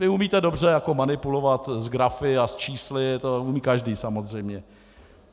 Vy umíte dobře manipulovat s grafy a s čísly, to umí každý samozřejmě.